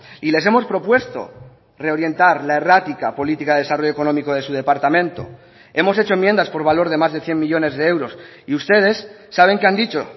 y les hemos propuesto reorientar la errática política de desarrollo económico de su departamento hemos hecho enmiendas por valor de más de cien millónes de euros y ustedes saben que han dicho